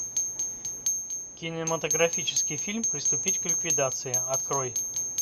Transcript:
кинематографический фильм приступить к ликвидации открой